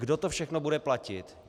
Kdo to všechno bude platit?